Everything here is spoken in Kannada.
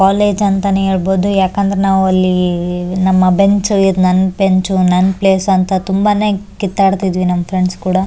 ಕಾಲೇಜು ಅಂತಾನೆ ಹೇಳ್ಬಹುದು ಯಾಕಂದ್ರೆ ನಾವು ಅಲ್ಲಿ ಇದು ನಾನ್ ಬೆಂಚು ನಾನ್ ಪ್ಲೇಸ್ ಅಂತ ತುಂಬಾನೇ ಕಿತ್ತಾಡ್ತಾಇದ್ವಿನಮ್ ಫ್ರೆಂಡ್ಸ್ ಕೂಡ --